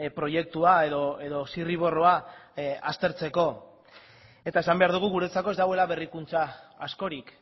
proiektua edo zirriborroa aztertzeko eta esan behar dugu guretzako ez dagoela berrikuntza askorik